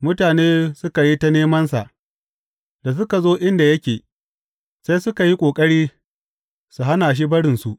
Mutane suka yi ta nemansa, da suka zo inda yake, sai suka yi ƙoƙari su hana shi barinsu.